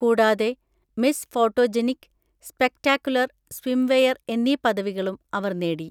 കൂടാതെ, Miss photogenic, spectacular swimwear എന്നീ പദവികളും അവർ നേടി.